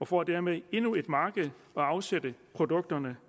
får dermed endnu et marked at afsætte produkterne